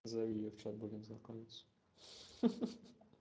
зови её в чат будем знакомиться ха ха ха